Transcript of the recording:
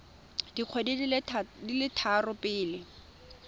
dikgwedi di le tharo pele